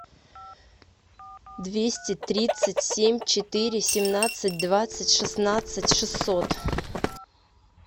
двести тридцать семь четыре семнадцать двадцать шестнадцать шестьсот